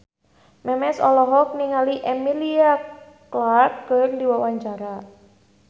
Memes olohok ningali Emilia Clarke keur diwawancara